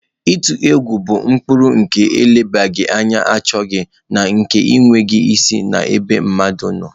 Ịtụ egwu bụ ụkpụrụ nke nlebara anya achọghị na nke na-enweghị isi n'ebe mmadụ nọ.